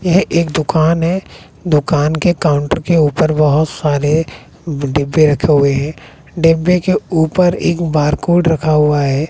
यह एक दुकान है दुकान के काउंटर के ऊपर बहोत सारे डिब्बे रखे हुए हैं डिब्बे के ऊपर एक बारकोड रखा हुआ है।